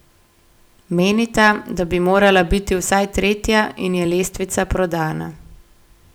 Menita, da bi morala biti vsaj tretja in je lestvica prodana.